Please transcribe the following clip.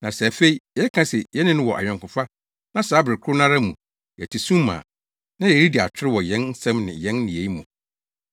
Na sɛ afei yɛka se yɛne no wɔ ayɔnkofa na saa bere koro no ara mu yɛte sum mu a, na yɛredi atoro wɔ yɛn nsɛm ne yɛn nneyɛe mu.